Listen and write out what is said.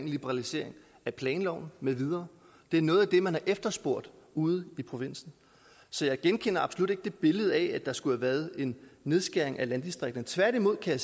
liberalisering af planloven med videre det er noget af det man har efterspurgt ude i provinsen så jeg genkender absolut ikke det billede af at der skulle have været en nedskæring i landdistrikterne tværtimod kan